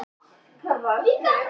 Glaðlegt og geislandi.